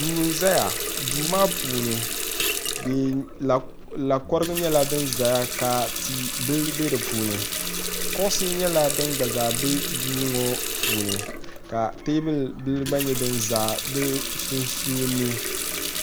duu n-zaya duu maa puuni lakɔrigu nyɛla din zaya ka ti' bila be di puuni kuɣisi nyɛla din gba zaa be duu ŋɔ puuni ka teebuli bila gba nyɛ din za di sunsuuni